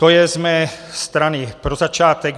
To je z mé strany pro začátek.